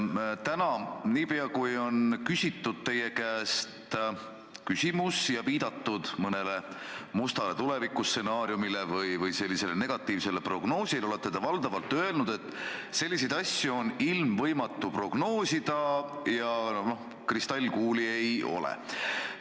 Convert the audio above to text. Täna, niipea kui on küsitud teie käest küsimus ja viidatud mingile mustale tulevikustsenaariumile või negatiivsele prognoosile, te olete valdavalt öelnud, et selliseid asju on ilmvõimatu prognoosida ja kristallkuuli ei ole.